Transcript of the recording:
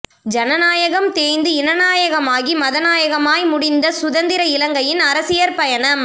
ஜனநாயம் தேய்ந்து இனநாயகமாகி மதநாயகமாய் முடிந்த சுதந்திர இலங்கையின் அரசியற் பயணம்